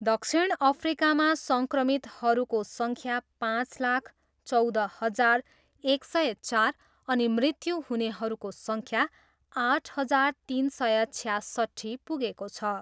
दक्षिण अफ्रिकामा सङ्क्रमितहरूको सङ्ख्या पाँच लाख चौध हजार एक सय चार अनि मृत्यु हुनेहरूको सङ्ख्या आठ हजार तिन सय छयासट्ठी पुगेको छ।